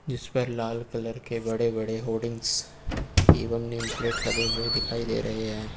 जिस पर लाल कलर के बड़े बड़े होर्डिंग्स एवं नेम प्लेट लगे हुए दिखाई दे रहे हैं।